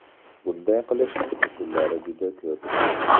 Bunday qilishning usullari juda ko‘p.